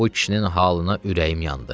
Bu kişinin halına ürəyim yandı.